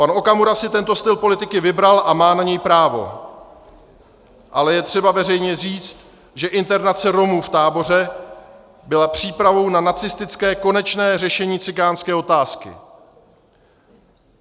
Pan Okamura si tento styl politiky vybral a má na něj právo, ale je třeba veřejně říci, že internace Romů v táboře byla přípravou na nacistické konečné řešení cikánské otázky.